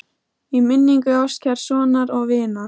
Í minningu ástkærs sonar og vinar